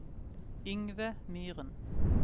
Yngve Myren